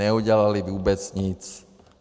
Neudělali vůbec nic.